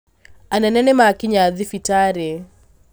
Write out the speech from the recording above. Anene nĩmakinya thibitarĩ